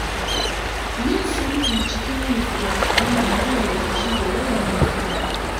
Yin sulhu cikin nutsuwa yana hana rikici da yawan husuma.